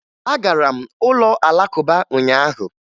Agara m ụlọ Alakụba ụnyaahụ